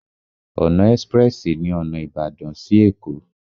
Ọ̀nà ẹ́sprẹ́sì ní ọ̀nà Ìbàdàn sí Ẹ̀kó.